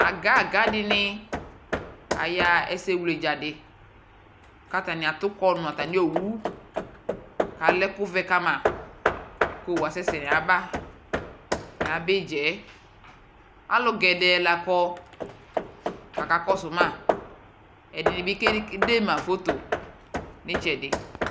Aga aga di ni ayaɣa ɛsɛwledza di kʋ atani akɔ nʋ atami owu Alɛ ɛkʋ vɛ kama kʋ owu asɛsɛ nʋ ayava yaba idza yɛ Alʋ gɛdɛɛ la kɔ kʋ akakɔsʋ ma Ɛdi ni bi kedema foto nitsɛdi